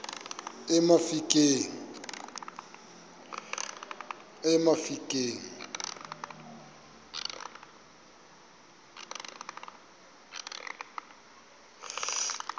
emafikeng